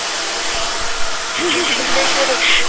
खूप डेंजर होत ते